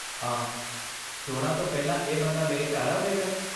ਆਹ, ਚੋਣਾਂ ਤੋਂ ਪਹਿਲਾਂ ਇਹ ਬੰਦਾ ਮੇਰੇ ਘਰ ਆਵੇਗਾ?